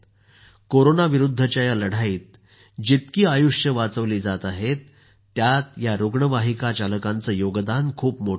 corona विरुध्दच्या या लढाईत जितकी आयुष्ये वाचवली जात आहेत त्यात या रुग्णवाहिका चालकांचेयोगदान खूप मोठे आहे